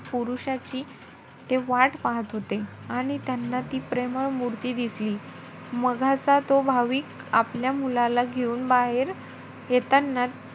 पुरुषाची ते वाट पाहत होते. आणि त्यांना ती प्रेमळ मूर्ती दिसली. मघाचा तो भाविक आपल्या मुलाला घेऊन बाहेर येताना,